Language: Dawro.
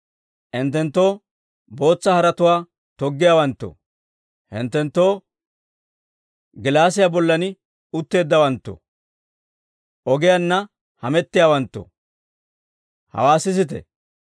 Hinttenttoo, bootsa haretuwaa toggiyaawantto, Hinttenttoo, gilaasiyaa bollan uteeddawanttoo, ogiyaanna hamettiyaawanttoo, hawaa sisite!